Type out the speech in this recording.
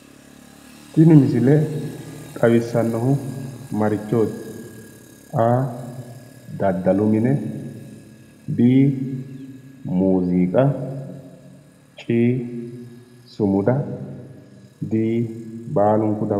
Tini misile xawissannohu maarichooti? A/daddalu mine B/muuziiqa C/sumuda D/baalunku dawarote.